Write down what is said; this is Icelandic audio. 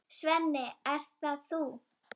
Svenni, ert það þú!?